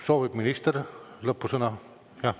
Soovib minister lõpusõna?